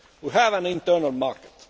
We have an internal market.